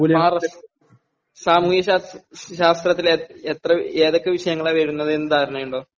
സാമൂഹ്യ ശാസ്ത്രത്തിൽ എത്ര..ഏതൊക്കെ വിഷയങ്ങളാ വരുന്നത് നു ധാരണയുണ്ടോ?